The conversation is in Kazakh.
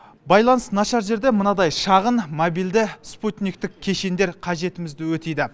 байланыс нашар жерде мынадай шағын мобильді спутниктік кешендер қажетімізді өтейді